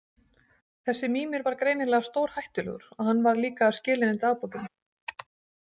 Þessi Mímir var greinilega stórhættulegur og hann varð líka að skila henni dagbókinni.